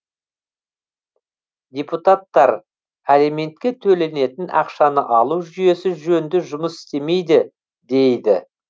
депутаттар алиментке төленетін ақшаны алу жүйесі жөнді жұмыс істемейді дейді